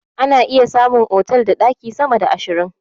Ana iya samun otal da ɗaki sama da ashirin.